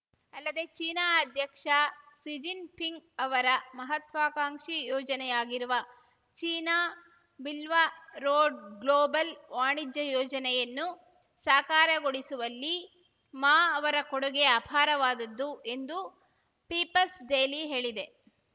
ಅಲ್ಲದೆ ಚೀನಾ ಅಧ್ಯಕ್ಷ Xi Jinping ಅವರ ಮಹತ್ವಾಕಾಂಕ್ಷಿ ಯೋಜನೆಯಾಗಿರುವ ಚೀನಾ ಬಿಲ್ವ ರೋಡ್‌ ಗ್ಲೋಬಲ್‌ ವಾಣಿಜ್ಯ ಯೋಜನೆಯನ್ನು ಸಾಕಾರಗೊಳಿಸುವಲ್ಲಿ ಮಾ ಅವರ ಕೊಡುಗೆ ಅಪಾರವಾದದ್ದು ಎಂದು ಪೀಪಲ್ಸ್‌ ಡೇಲಿ ಹೇಳಿದೆ